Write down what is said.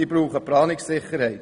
Sie brauchen Planungssicherheit.